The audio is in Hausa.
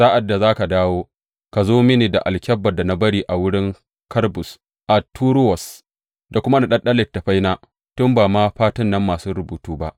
Sa’ad da za ka dawo, ka zo mini da alkyabbar da na bari a wurin Karbus a Toruwas, da kuma naɗaɗɗun littattafaina, tun ba ma fatun nan masu rubutu ba.